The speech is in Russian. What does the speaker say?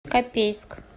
копейск